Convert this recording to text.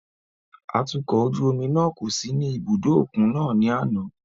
Atukọ̀ ojú omi náà kò sí ní ibùdó òkun náà ní àná.